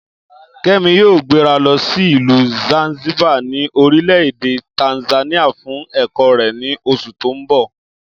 Kẹ́mi yóò gbéra lọ sí ìlú Zanzibar ní orílẹ̀ èdè Tanzania fún ẹ̀kọ́ rẹ̀ ní oṣù tó ń bọ̀